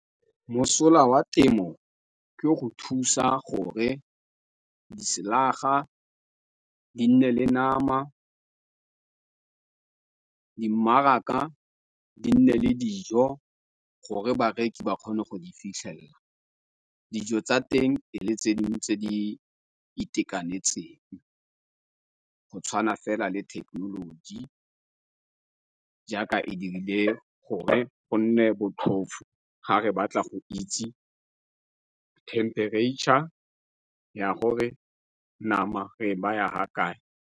Mosola wa temo ke go thusa gore diselaga di nne le nama, di mmaraka di nne le dijo gore bareki ba kgone go di fitlhelela. Dijo tsa teng e le tse dingwe tse di itekanetseng, go tshwana fela le thekenoloji, jaaka e dirile gore go nne botlhofo ga re batla go itse temperature ya gore nama re e ba ya ha kae.